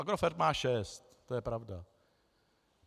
Agrofert má šest, to je pravda.